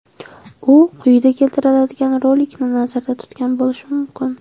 U quyida keltiriladigan rolikni nazarda tutgan bo‘lishi mumkin.